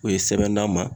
O ye sɛbɛnna ma